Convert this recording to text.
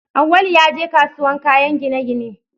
Awwalu ya je kasuwar kayan gine-gine